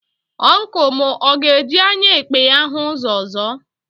Ọncụl m ọ ga-eji anya ekpe ya hụ ụzọ ọzọ?